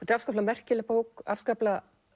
afskaplega merkileg bók afskaplega